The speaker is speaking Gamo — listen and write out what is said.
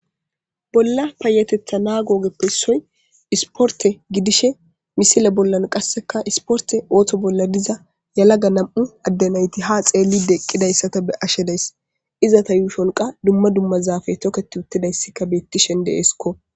Bolla payatetha nagope issioy isporte gidishin misile bolan qaseka isporte ootho bolan de'iza yelaga nam'u ade nayti ha xeelishe eqidaysa ta be'ashe de'ays izeta yuushonka duma duma zaafe toketutidaysika beetishe de'es gusako.